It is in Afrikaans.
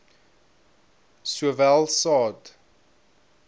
s sowel saad